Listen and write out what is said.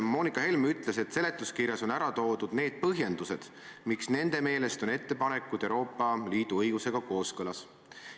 Moonika Helme ütles, et seletuskirjas on toodud põhjendused, miks nende meelest on ettepanekud Euroopa Liidu õigusega kooskõlas.